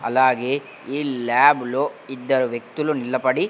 అలాగే ఈ ల్యాబ్ లో ఇద్దరు వ్యక్తులు నిలబడి --